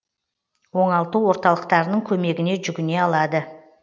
оңалту орталықтарының көмегіне жүгіне алады